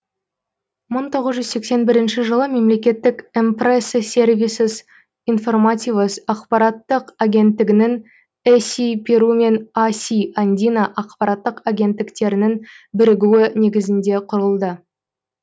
мың тоғыз жүз сексен бірінші жылы мемлекеттік эмпреса сервисос информативос ақпараттық агенттігінің эси перу мен аси андина ақпараттық агенттіктерінің бірігуі негізінде құрылды